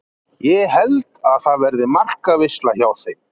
Ég held að það verði markaveisla hjá þeim.